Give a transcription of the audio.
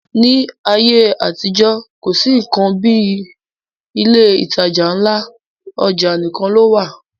Ní ayé àtijọ́, kò sí nnkan kan bí ilé ìtajà ńlá, ọjà nìkan ló wà